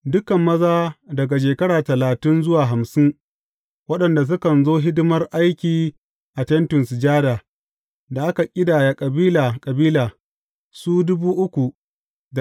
Dukan maza daga shekara talatin zuwa hamsin waɗanda sukan zo hidimar aiki a Tentin Sujada, da aka ƙidaya kabila kabila, su ne.